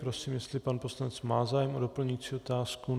Prosím, jestli pan poslanec má zájem o doplňující otázku.